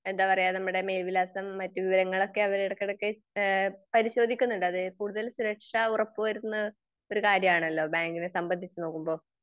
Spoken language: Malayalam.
എന്താ പറയാ, നമ്മുടെ മേൽവിലാസം മറ്റു വിവരങ്ങളൊക്കെ അവര് എടക്കെടക് ഏഹ് പരിശോധിക്കുന്നുണ്ട്. അത് കൂടുതൽ സുരക്ഷ ഉറപ്പ് വരുത്തുന്ന ഒരു കാര്യം ആണല്ലോ ബാങ്കിനെ സംബന്ധിച്ച് നോക്കുമ്പോ.